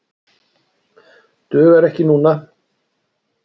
Dugar ekki núna.